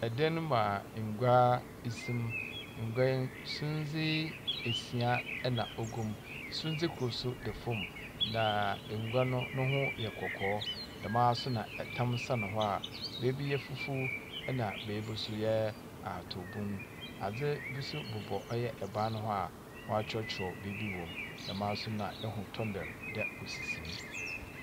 Dan mu a ngua esim. Ngua no, sumdze asia na ɔgum. Sundze kor nso da fam, na ngua no ne ho yɛ kɔkɔɔ, dɛm ara nso na tam sɛn hɔ a beebi yɛ fufuw, ɛnna beebi nso yɛ atow bun. Adze bi nso bobɔ ɔyɛ ban no ho a wɔatwerɛtwerɛ biribi wom, dɛm ara nso na ɛhu tombɛl dɛ osisim.